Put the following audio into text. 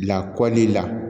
Lakɔli la